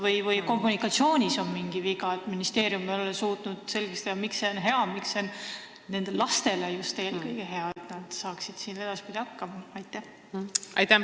Või on tehtud mingi kommunikatsiooniviga: ministeerium ei ole suutnud selgeks teha, et eesti keele õpe on eelkõige hea just nendele lastele, sest nad saaksid siin edaspidi hakkama?